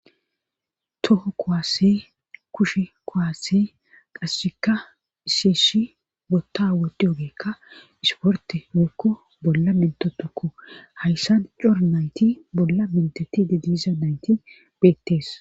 toho kowaasse kushe kowaase qasseka iseeshi wotta woddi yogeekka isporte hookko bolla mentotokko hayssan cor nayti bolla menteti dediliza nayti beettees